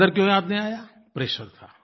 अंदर क्यों याद नहीं आया प्रेशर था